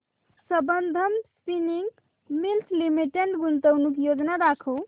Sambandam spinning mills limited गुंतवणूक योजना दाखव